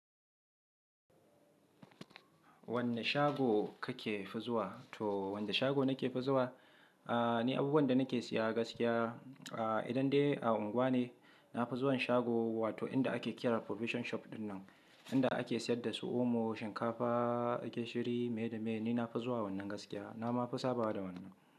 Wanne shago kake fi zuwa? To wanda shago nake fizuwa? Aaa, ni abubuwan da nake siya gaskiya. Aaa, idan dai a unguwa ne, na fi zuwan shago wato inda ake kira provision shop dinnan. Inda ake siyar da su omo, shinkafa, gishiri, me da me, ni na fi zuwa wannan gaskiya. Na ma fi saba da wannan.